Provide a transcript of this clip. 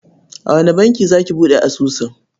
A wane banki za ki buɗe asusun?